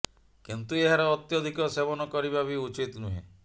କିନ୍ତୁ ଏହାର ଅତ୍ୟଧିକ ସେବନ କରିବା ବି ଉଚିତ୍ ନୁହେଁ